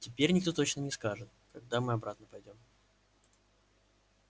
теперь никто точно не скажет когда мы обратно пойдём